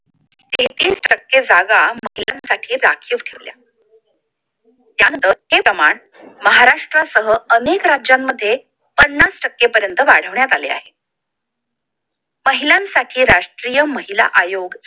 तेहतीस टक्के जागा महिलांसाठी राखीव ठेवल्या महाराष्ट्रासह अनेक राज्यांमध्ये पन्नास टक्के पर्यंत वाढवण्यात आले आहे महिलांसाठी राष्ट्रीय महिला आयोग